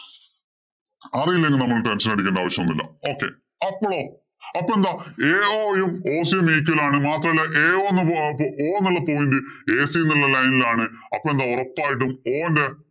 അറിയില്ലെങ്കില്‍ നമ്മള്‍ tension അടിക്കണ്ട ആവശ്യം ഒന്നുമില്ല. Okay അപ്പളോ അപ്പൊ എന്താ ao യും ac യും meet ഇലാണ്. മാത്രമല്ല, ao o എന്നുള്ള pontiac എന്നുള്ള line ഇലാണ്. അപ്പൊ എന്താ ഒറപ്പായിട്ടും o എന്താ?